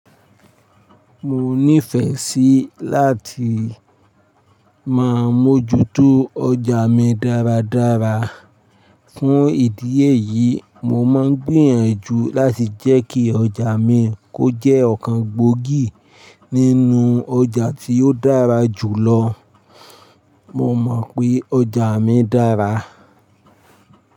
Mo nífẹẹ sí láti máa mójútó ọjà mi dáradára. Fún ìdí èyí, mo máa ń gbìyànjú láti jẹ́ kí ọjà mi kó jẹ́ ọ̀kan gbòógì nínú ọjà tí ó dára jù lọ. Mo mọ̀ pé ọjà mi dára.